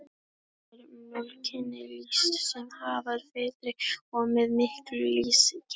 Þar er mjólkinni lýst sem afar feitri og með miklum lýsiskeim.